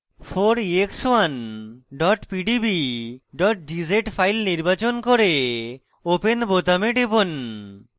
4ex1 pdb gz file নির্বাচন করে open বোতামে টিপুন